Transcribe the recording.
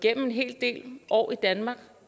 en hel del år i danmark